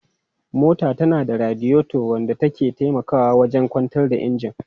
Mota tana da radiator wanda ke taimakawa wajen kwantar da injin.